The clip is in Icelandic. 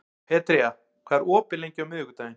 Petrea, hvað er opið lengi á miðvikudaginn?